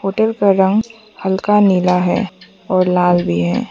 Hotel का रंग हल्का नीला है और लाल भी है।